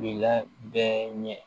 Bila bɛɛ ɲɛ